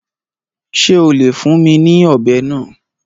Ṣé o lè fún mi ní ọ̀bẹ náà?